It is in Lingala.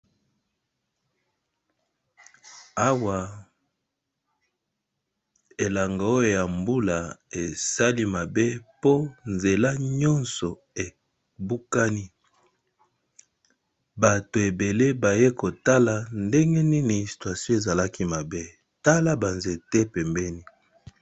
Awa elanga oyo ya mbula esali mabe mpo nzela nyonso ebukani bato ebele baye kotala ndenge nini situation ezalaki mabe tala banzete pembeni.